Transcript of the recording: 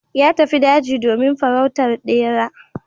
Ya tafi daji domin farautar ɗera.